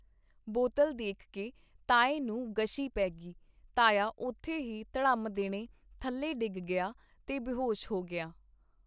ਬੋਤਲ ਦੇਖਕੇ ਤਾਏ ਨੂੰ ਗਸ਼ੀ ਪੇਗੀ ਤਾਇਆ ਉੱਥੇ ਹੀ ਧੜਮ ਦੇਣੇ ਥੱਲੇ ਡਿੱਗ ਗਿਆ ਤੇ ਬੇਹੋਸ਼ ਹੋ ਗਿਆ.